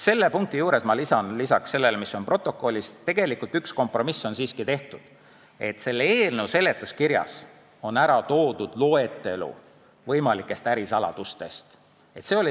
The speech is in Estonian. Selle punkti juurde ma lisan peale selle, mis on protokollis, selle, et tegelikult üks kompromiss on siiski tehtud: eelnõu seletuskirjas on ära toodud võimalike ärisaladuste loetelu.